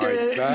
Aitäh!